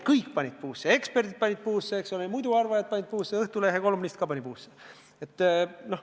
Kõik panid puusse – eksperdid panid puusse, eks ole, muidu arvajad panid puusse, Õhtulehe kolumnist ka pani puusse.